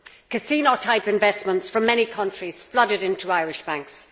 Casino type investments from many countries flooded into Irish banks.